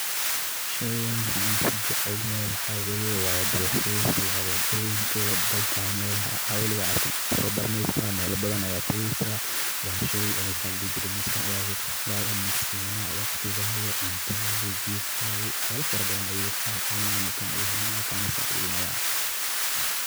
Sheyganaxan kujecelyahay waxa waye wa dalhis wa wadoyinka iyo dalka melaha waliga arkin aya sobaraneysa, mela badan aya tageysa, wa shey oo maxa ladixijiree maskaxdada sinayo wagtigada, cuntadada, jifkada wax yala farabadan ayu gabta ona kana sacideynayo.